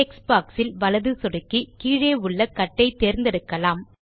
text boxயில் வலது சொடுக்கி கீழே உள்ள கட் ஐ தேர்ந்தெடுக்கலாம்